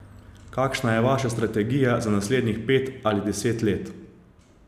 Kakšna je vaša strategija za naslednjih pet ali deset let?